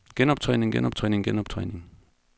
genoptræning genoptræning genoptræning